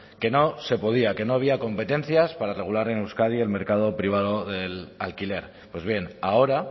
que no se podía que no había competencias para regular en euskadi el mercado privado del alquiler pues bien ahora